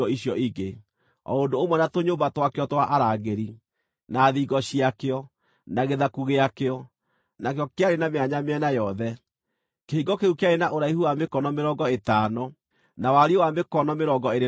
o ũndũ ũmwe na tũnyũmba twakĩo twa arangĩri, na thingo ciakĩo, na gĩthaku gĩakĩo, nakĩo kĩarĩ na mĩanya mĩena yothe. Kĩhingo kĩu kĩarĩ na ũraihu wa mĩkono mĩrongo ĩtano, na wariĩ wa mĩkono mĩrongo ĩĩrĩ na ĩtano.